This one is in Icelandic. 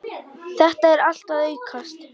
Þetta er allt að aukast.